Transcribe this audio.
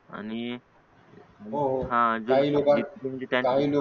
आणि हा कॅन्टीन